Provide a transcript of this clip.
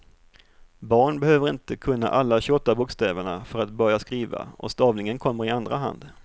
Barn behöver inte kunna alla tjugoåtta bokstäverna för att börja skriva och stavningen kommer i andra hand.